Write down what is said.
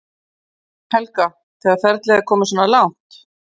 Helga: Þegar ferlið er komið svona langt?